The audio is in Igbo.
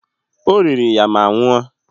O riri ya ma nwụọ.